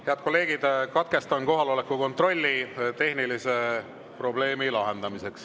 Head kolleegid, katkestan kohaloleku kontrolli, et lahendada tehniline probleem.